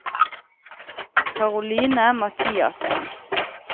Karoline Mathiassen